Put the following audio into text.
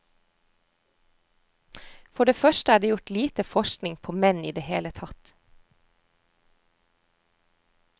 For det første er det gjort lite forskning på menn i det hele tatt.